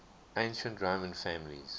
ancient roman families